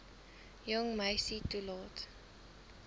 jong meisie toelaat